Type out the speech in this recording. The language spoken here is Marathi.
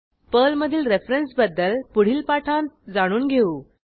पर्लमधील रेफरन्स बद्दल पुढील पाठांत जाणून घेऊ